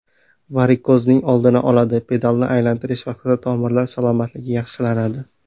Varikozning oldini oladi Pedalni aylantirish vaqtida tomirlar salomatligi yaxshilanadi.